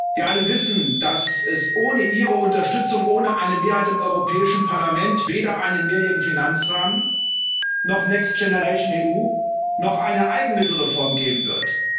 Wir alle wissen, dass es ohne Ihre Unterstützung, ohne eine Mehrheit im Europäischen Parlament, weder einen Mehrjährigen Finanzrahmen noch Next Generation EU noch eine Eigenmittelreform geben wird.